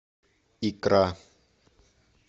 икра